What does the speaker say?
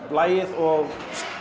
lagið og